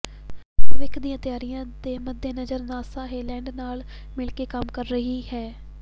ਭਵਿੱਖ ਦੀਆਂ ਤਿਆਰੀਆਂ ਦੇ ਮੱਦੇਨਜ਼ਰ ਨਾਸਾ ਹੇਲੈਂਡ ਨਾਲ ਮਿਲ ਕੇ ਕੰਮ ਕਰ ਰਹੀ ਹੈ